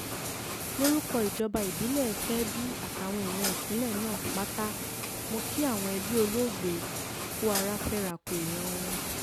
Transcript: lórúkọ ìjọba ìbílẹ̀ kebbi àtàwọn èèyàn ìpínlẹ̀ náà pátá mọ́ kí àwọn ẹbí olóògbé kù ara fẹ́ra ku èèyàn wọn